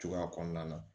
Cogoya kɔnɔna na